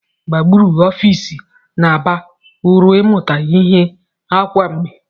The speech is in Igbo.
Gburugburu ọfịs na-aba uru ịmụta ihe kwa mgbe.